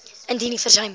indien u versuim